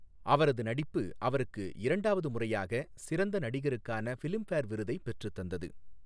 அவரது நடிப்பு அவருக்கு இரண்டாவது முறையாக சிறந்த நடிகருக்கான ஃபிலிம்பேர் விருதை பெற்றுத்தந்தது.